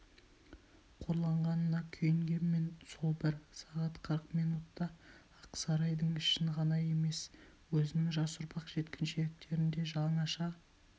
қорланғанына күйінгенмен сол бір сағат қырық минутта ақ сарайдың ішін ғана емес өзінің жас ұрпақ жеткіншектерін де жаңаша